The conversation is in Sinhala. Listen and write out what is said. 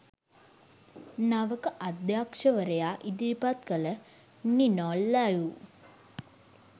නවක අධ්‍යක්ෂකවරයා ඉදිරිපත් කළ 'නිනෝ ලයිව්'